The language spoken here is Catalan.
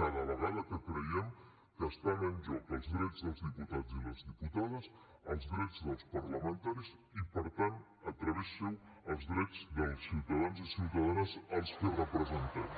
cada vegada que creiem que estan en joc els drets dels diputats i les diputades els drets dels parlamentaris i per tant a través seu els drets dels ciutadans i ciutadanes als que representem